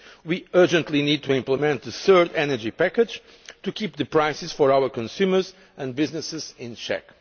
We urgently need to implement the third energy package to keep prices for our consumers and businesses in check.